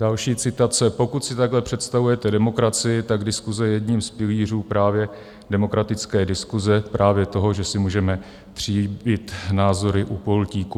Další citace: Pokud si takhle představujete demokracii, tak diskuse je jedním z pilířů právě demokratické diskuse, právě toho, že si můžeme tříbit názory u pultíku.